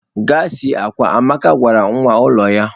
Gaa sie akwa! Amaka gwara nwa ulo ya